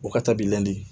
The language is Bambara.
O ka taa b'i ladi